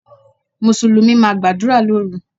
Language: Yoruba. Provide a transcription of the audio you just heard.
Mùsùlùmí máa gbàdúrà lóru.